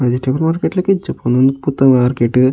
Vegetable market ದ ಲೆಕ ಇಜ್ಜಪ್ಪ ಉಂದು ಪೂತ ಮಾರ್ಕೆಟ್ .